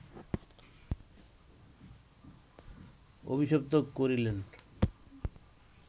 অভিশপ্ত করিলেন